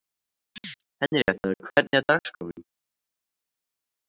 Henríetta, hvernig er dagskráin?